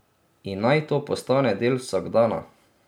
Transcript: In naj to postane del vsakdana.